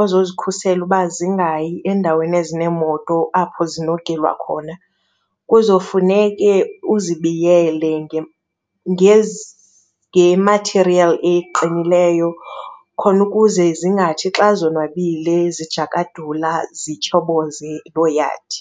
ozozikhusela uba zingayi endaweni ezineemoto apho zinogilwa khona. Kuzowufuneke uzibiyele ke nge-material eqinileyo khona ukuze zingathi xa zonwabile zijakadula zityhoboze loo yadi.